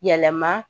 Yɛlɛma